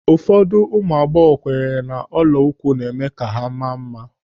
Ụfọdụ ụmụ agbọghọ kwenyere n'ọla na-eme ka ha maa mma.